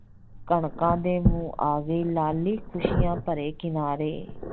ਕਣਕਾਂ ਦੇ ਮੂੰਹ ਆ ਗਈ ਲਾਲੀ ਖੁਸੀਆਂ ਭਰੇ ਕਿਨਾਰੇ